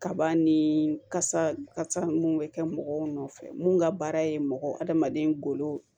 Kaba ni kasa kasa mun bɛ kɛ mɔgɔw nɔfɛ mun ka baara ye mɔgɔ adamaden golo